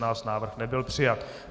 Návrh nebyl přijat.